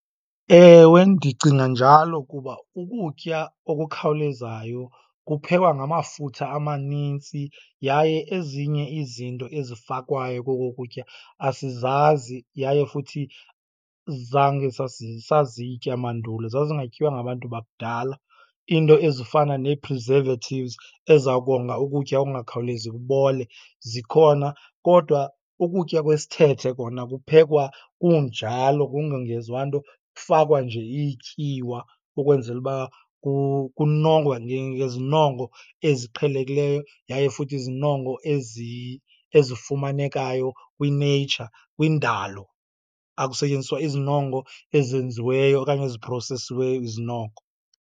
Ewe, ndicinga njalo, kuba ukutya okukhawulezayo kuphekwa ngamafutha amanintsi yaye ezinye izinto ezifakwayo koko kutya asizazi yaye futhi zange sazitya mandulo, zazingatyiwa ngabantu bakudala. Iinto ezifana nee-preservatives eziza konga ukutya okungakhawulezi kubole zikhona, kodwa ukutya kwesithethe kona kuphekwa kunjalo kungongezwa nto. Kufakwa nje ityiwa ukwenzela uba kunongwe ngezinongo eziqhelekileyo yaye futhi izinongo ezifumanekayo kwi-nature, kwindalo. Akusetyenziswa izinongo ezenziweyo okanye eziprosesiweyo izinongo.